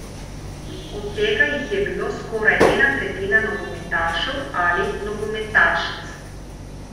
Od tega jih je bilo skoraj ena tretjina nogometašev ali nogometašic.